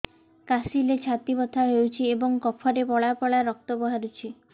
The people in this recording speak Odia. କାଶିଲେ ଛାତି ବଥା ହେଉଛି ଏବଂ କଫରେ ପଳା ପଳା ରକ୍ତ ବାହାରୁଚି